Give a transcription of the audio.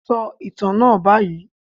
Sọ ìtàn náà báyìí.